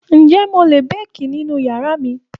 Ǹjẹ́ mo lè béèkì nínú yàrá mi?